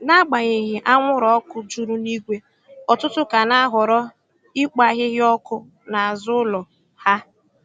N'agbanyeghị anwụrụ ọkụ juru n'igwe, ọtụtụ ka na-ahọrọ ikpo ahịhịa ọkụ n'azụ ụlọ ha.